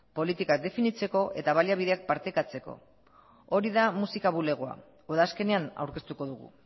politikak definitzeko eta baliabideak partekatzeko hori da musika bulegoa udazkenean aurkeztuko dugu